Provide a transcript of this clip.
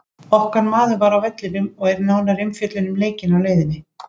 Okkar maður var á vellinum og er nánari umfjöllun um leikinn á leiðinni.